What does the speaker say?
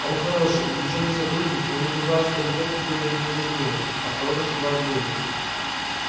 она хороший увлечённый сотрудник но мне казалось что любовь к тебе для нее важнее осторожно сказал бедренец